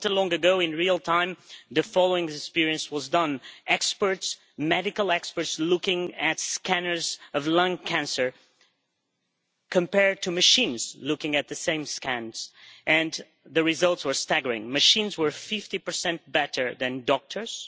Not so long ago in real time the following experiment was carried out experts, medical experts, looking at scanners of lung cancer compared to machines, looking at the same scans. The results were staggering machines were 50 better than doctors.